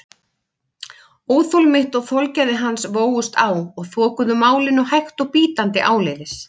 Óþol mitt og þolgæði hans vógust á og þokuðu málinu hægt og bítandi áleiðis.